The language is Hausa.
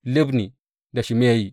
Libni da Shimeyi.